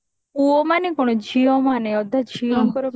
ପୁଅ ମାନେ କଣ ଝିଅ ମାନେ ଅଧା ଝିଅଙ୍କର marriage